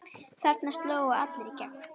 Þarna slógu allir í gegn.